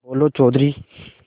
बोलो चौधरी